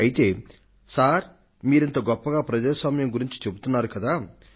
అయితే సార్ మీరింత గొప్పగా ప్రజాస్వామ్యం గురించి చెబుతున్నారు కదా